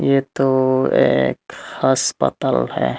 ये तो एक अस्पताल है।